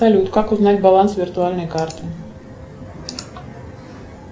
салют как узнать баланс виртуальной карты